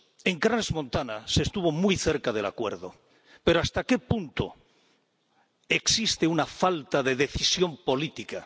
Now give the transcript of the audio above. En Crans Montana se estuvo muy cerca del acuerdo, pero ¿hasta qué punto existe una falta de decisión política?